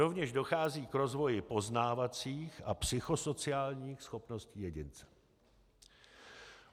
Rovněž dochází k rozvoji poznávacích a psychosociálních schopností jedince.